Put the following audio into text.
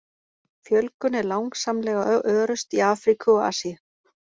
Fjölgun er langsamlega örust í Afríku og Asíu.